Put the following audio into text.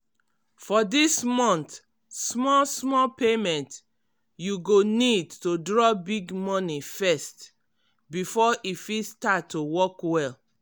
for dis month small-small payment you go need to drop big money first before e fit start to work well.